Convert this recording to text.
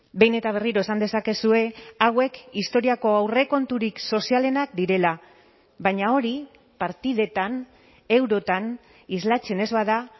behin eta berriro esan dezakezue hauek historiako aurrekonturik sozialenak direla baina hori partidetan eurotan islatzen ez bada